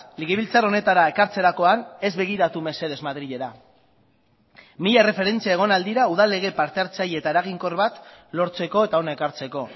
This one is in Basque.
legebiltzar honetara ekartzerakoan ez begiratu mesedez madrilera mila erreferentzia egon al dira udal lege partehartzaile eta eraginkor bat lortzeko eta hona ekartzeko